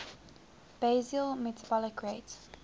basal metabolic rate